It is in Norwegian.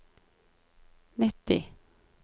nitti